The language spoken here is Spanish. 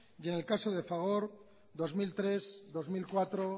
y en el caso de fagor dos mil tres dos mil cuatro